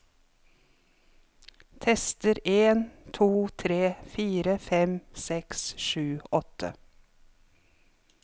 Tester en to tre fire fem seks sju åtte